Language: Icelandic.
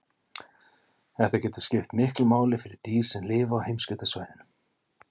Þetta getur skipt miklu máli fyrir dýr sem lifa á heimskautasvæðunum.